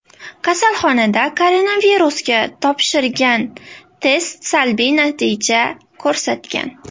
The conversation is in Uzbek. Kasalxonada koronavirusga topshirgan test salbiy natija ko‘rsatagan.